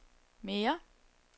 mere